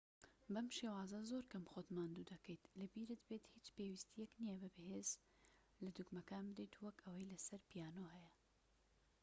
بەم شێوازە زۆر کەم خۆت ماندوو دەکەیت لەبیرت بێت هیچ پێویستیەک نیە بە هێز لە دوگمەکان بدەیت وەک ئەوەی لە سەر پیانۆ هەیە